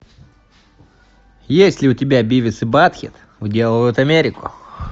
есть ли у тебя бивис и батхед уделывают америку